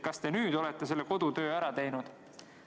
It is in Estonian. Kas te nüüd olete selle kodutöö ära teinud?